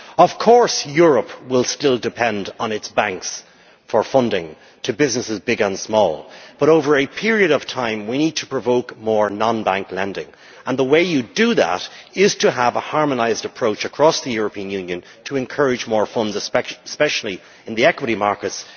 Of course Europe will still depend on its banks for funding to businesses big and small, but over a period of time we need to provoke more non bank lending, and the way you do that is to have a harmonised approach across the European Union in order to encourage more funds to invest, especially in the equity markets.